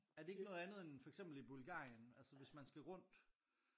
Er det ikke noget andet end for eksempel i Bulgarien? Altså hvis man skal rundt